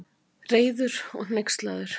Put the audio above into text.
Reiður og hneykslaður.